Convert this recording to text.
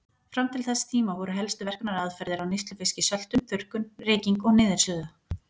Fram til þess tíma voru helstu verkunaraðferðir á neyslufiski söltun, þurrkun, reyking og niðursuða.